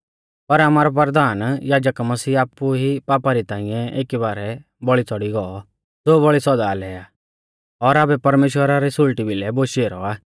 पर आमारौ परधान याजक मसीह आपु ई पापा री ताइंऐ एकी बारै बौल़ी च़ौड़ी गौ ज़ो बौल़ी सौदा लै आ और आबै परमेश्‍वरा री सुल़टी भिलै बोशी ऐरौ आ